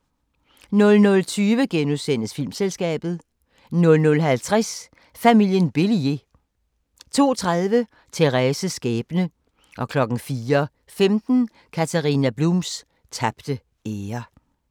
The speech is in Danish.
00:20: Filmselskabet * 00:50: Familien Bélier 02:30: Thérèses skæbne 04:15: Katharina Blums tabte ære